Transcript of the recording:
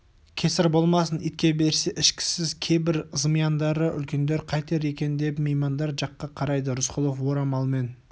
кесір болмасын итке берсе ішкісіз кейбір зымияндары үлкендер қайтер екен деп меймандар жаққа қарайды рысқұлов орамалмен